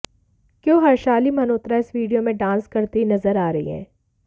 Q Harshali Malhotra इस video में dance करती हुईं नजर आ रही है